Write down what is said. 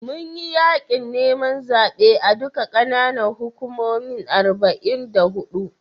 Mun yi yaƙin neman zaɓe a duka ƙananan hukumomin arba'in da huɗu.